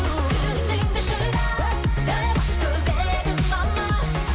сүріндің бе шыда деп айтып еді мама